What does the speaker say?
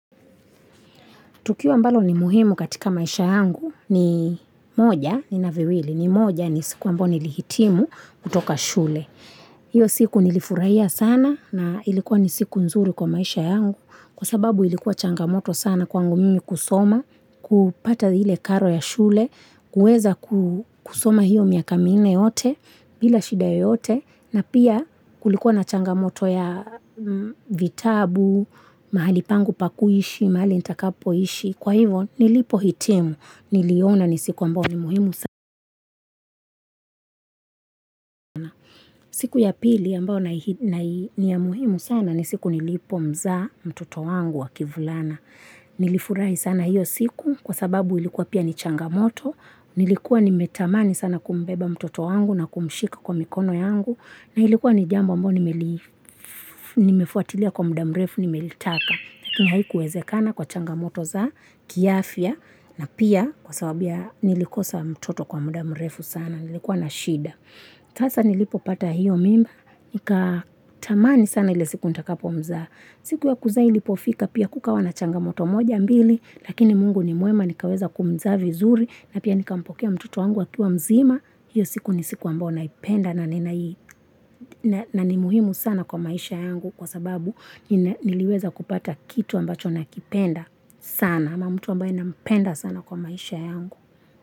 Tukio ambalo ni muhimu katika maisha yangu ni moja ni naviwili ni moja ni siku amboni lihitimu kutoka shule. Hiyo siku nilifurahia sana na ilikuwa ni siku nzuri kwa maisha yangu kwa sababu ilikuwa changamoto sana kwangu mimi kusoma, kupata hile karo ya shule, kuweza kusoma hiyo miakamine yote bila shidae yote na pia kulikuwa na changamoto ya vitabu mahali pangu pakuishi mahali intakapoishi kwa hivo nilipo hitemu niliona nisiku ambao ni muhimu sana siku ya pili ambao ni ya muhimu sana nisiku nilipo mza mtoto wangu wa kivulana nilifurai sana hiyo siku kwa sababu ilikuwa pia ni changamoto nilikuwa nimetamani sana kumbeba mtoto wangu na kumshika kwa mikono yangu na ilikuwa ni jambo mbo nimefuatilia kwa muda mrefu nimeilitaka lakini haikuwezekana kwa changamoto za kiafia na pia kwa sababia nilikosa mtoto kwa muda mrefu sana nilikuwa na shida tasa nilipo pata hiyo mimba nika tamani sana ile siku nita kapo mza siku ya kuzai lipo fika pia kukawa na changamoto moja mbili lakini mungu ni muema nikaweza kumza vizuri na pia nikampokea mtoto wangu wakua mzima hiyo siku ni siku ambao naipenda na ni muhimu sana kwa maisha yangu kwa sababu niliweza kupata kitu ambacho nakipenda sana ama mtu ambao inapenda sana kwa maisha yangu.